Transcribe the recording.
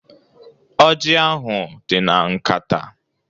Ọji ahụ dị na nkata.